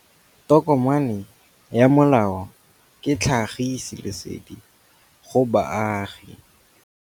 Tokomane ya molao ke tlhagisi lesedi go baagi.